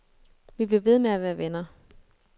Vi blev ved med at være venner.